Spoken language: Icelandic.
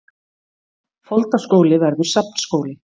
Foldaskóli verður safnskóli